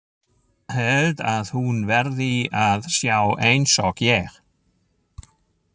Held að hún verði að sjá einsog ég.